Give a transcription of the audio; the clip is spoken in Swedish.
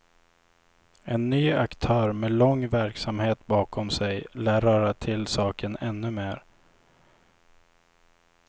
En ny aktör med lång verksamhet bakom sig lär röra till saken ännu mer.